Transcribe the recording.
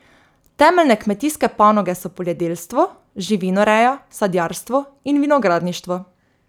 Temeljne kmetijske panoge so poljedelstvo, živinoreja, sadjarstvo in vinogradništvo.